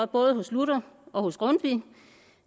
både hos luther og hos grundtvig